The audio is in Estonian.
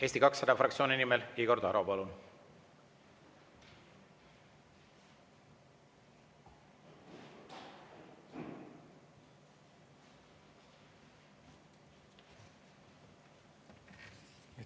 Eesti 200 fraktsiooni nimel Igor Taro, palun!